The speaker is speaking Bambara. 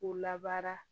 K'u labaara